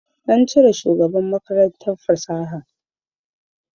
An cire shugaban Makarantar fasaha